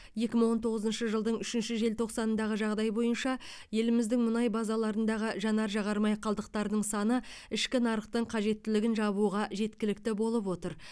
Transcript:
екі мың он тоғызыншы жылдың үшінші желтоқсанындағы жағдай бойынша еліміздің мұнай базаларындағы жанар жағар май қалдықтарының саны ішкі нарықтың қажеттілігін жабуға жеткілікті болып отыр